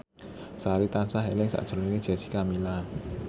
Sari tansah eling sakjroning Jessica Milla